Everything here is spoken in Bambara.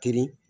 Kirin